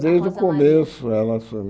Desde o começo ela